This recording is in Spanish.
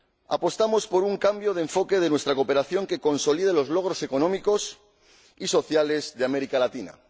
Apostamos por un cambio de enfoque de nuestra cooperación que consolide los logros económicos y sociales de América Latina